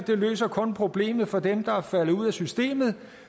løser problemet for dem der er faldet ud af systemet og